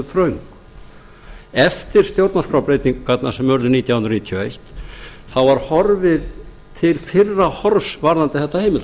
þröngt eftir stjórnarskrárbreytingarnar sem urðu nítján hundruð níutíu og eitt var horfið til fyrra horfs varðandi þetta